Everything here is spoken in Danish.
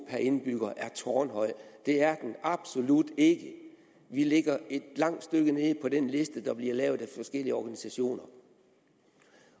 indbygger er tårnhøj det er den absolut ikke vi ligger et langt stykke nede på den liste der bliver lavet af forskellige organisationer